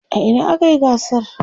a Ina akayi gasar?